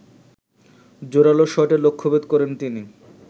জোরালো শটে লক্ষ্যভেদ করেন তিনি